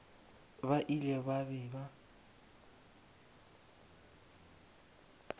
ba ile ba be ba